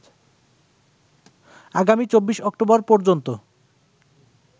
আগামী ২৪ অক্টোবর পর্যন্ত